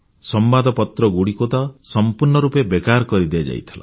ସମ୍ବାଦପତ୍ର ଗୁଡ଼ିକ ତ ସମ୍ପୂର୍ଣ୍ଣ ରୂପେ ବେକାର କରି ଦିଆଯାଇଥିଲା